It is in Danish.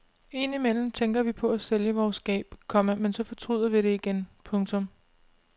Indimellem tænker vi på at sælge vores skab, komma men så fortryder vi det igen. punktum